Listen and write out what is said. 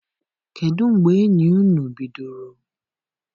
Kedụ mgbe enyi ụnu bidoro?